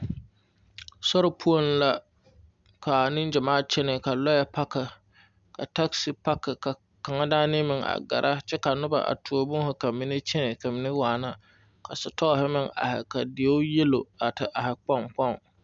Sori poɔŋ la, ka negyamaa kyɛnɛ, ka lɔɛ 'pack' ka 'taxi pack', ka kaŋa daana meŋ a gɛrɛ, kyɛ ka noba meŋ a tuo boma ka mine kyɛnɛ ka mine meŋ waana, ka setɔɔre meŋ a are, ka dieu 'yellow' te are kpoŋkpoŋ.